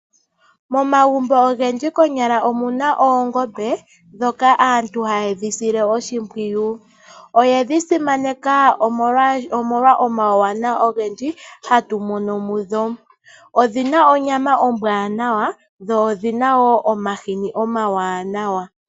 Momagumbo ogendji konyala omu na oongoombe ndhoka aantu haye dhi sile oshimpwiyu. Oye dhi simaneka omolwa omauwanawa ogendji hatu mono mu dho. Odhi na onyama ombwaanawa dho odhi na wo omahini omawanawa.